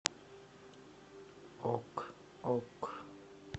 ок ок